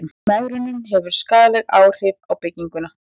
mengunin hefur skaðleg áhrif á bygginguna